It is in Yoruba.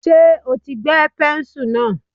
Ṣé o ti gbẹ́ pẹ́ńsù náà.